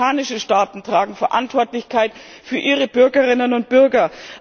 Auch afrikanische Staaten tragen Verantwortung für ihre Bürgerinnen und Bürger.